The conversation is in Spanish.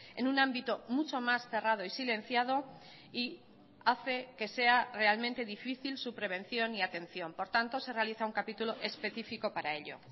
en un ámbito mucho más cerrado y silenciado y hace que sea realmente difícil su prevención y atención por tanto se realiza un capítulo específico para ello